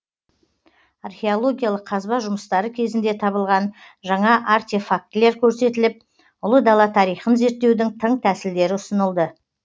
археологиялық қазба жұмыстары кезінде табылған жаңа артефактілер көрсетіліп ұлы дала тарихын зерттеудің тың тәсілдері ұсынылды